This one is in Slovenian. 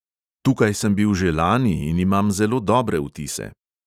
Tukaj sem bil že lani in imam zelo dobre vtise.